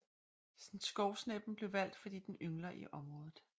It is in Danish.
Skovsneppen blev valgt fordi den yngler i området